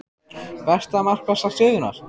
Besta markvarsla sögunnar?